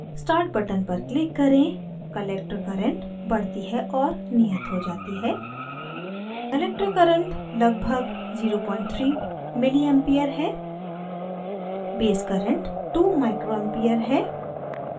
start button पर click करें collector current बढ़ती है और नियत हो जाती है